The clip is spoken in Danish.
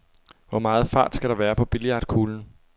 Hvor meget fart skal der være på billiardkuglen?